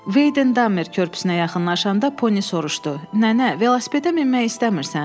Veyden Dammer körpüsünə yaxınlaşanda Poni soruşdu: Nənə, velosipedə minmək istəmirsən?